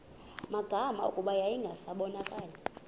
magama kuba yayingasabonakali